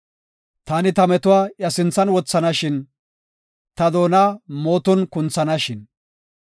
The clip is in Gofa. Taani ta metuwa iya sinthan wothanashin! Ta doona mooton kunthanashin!